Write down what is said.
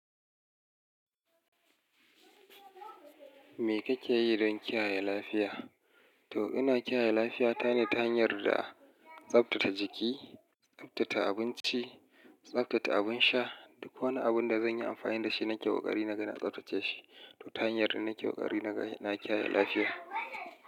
Me kake yi don kiyaye lafiya? To ina kiyaye lafiya ta ne ta hanyar da a tsabtata jiki, tsabtata abinci, tsabtata abin sha duk wani abun da zan yi amfani da shi nake ƙoƙari naga na tsabtace shi. Toh ta hanyar nake ƙoƙari naga na kiyaye lafiya.